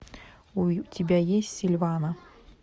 у тебя есть сильвана